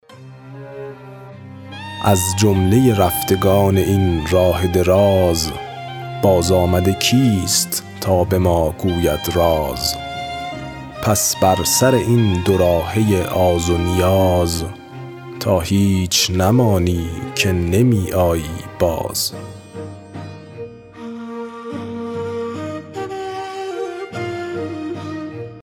از جمله رفتگان این راه دراز بازآمده کیست تا به ما گوید راز پس بر سر این دو راهه آز و نیاز تا هیچ نمانی که نمی آیی باز